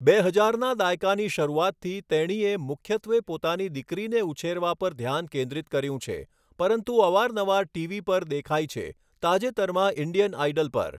બે હજારના દાયકાની શરૂઆતથી, તેણીએ મુખ્યત્વે પોતાની દીકરીને ઉછેરવા પર ધ્યાન કેન્દ્રિત કર્યું છે, પરંતુ અવારનવાર ટીવી પર દેખાઈ છે, તાજેતરમાં ઇન્ડિયન આઇડલ પર.